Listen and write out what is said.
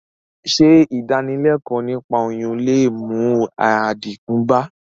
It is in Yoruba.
Sé ìdánilékòó niípa oyún le mú àdínkù bá...